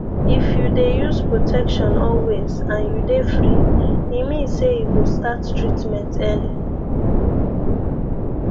if tou dey use protection always and you dey free e mean say you go start treatment early